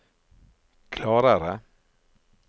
klarere